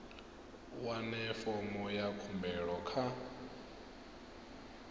wane fomo ya khumbelo kha